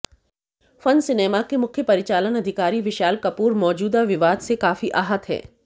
fun Cinema के मुख्य परिचालन अधिकारी विशाल कपूर मौजूदा विवाद से काफी आहत हैं